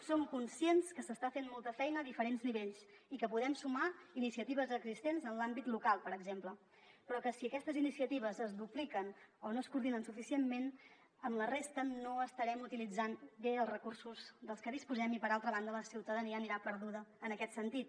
som conscients que s’està fent molta feina a diferents nivells i que podem sumar iniciatives existents en l’àmbit local per exemple però que si aquestes iniciatives es dupliquen o no es coordinen suficientment amb la resta no estarem utilitzant bé els recursos dels que disposem i per altra banda la ciutadania anirà perduda en aquest sentit